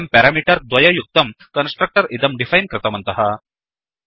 वयं पेरामीटर् द्वययुक्तं कन्स्ट्रक्टर् इदं डिफैन् कृतवन्तः